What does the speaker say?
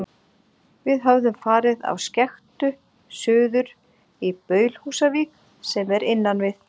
Við höfðum farið á skektu suður í Baulhúsavík, sem er innan við